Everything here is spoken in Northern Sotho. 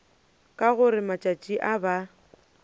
ka gore matšatši a ba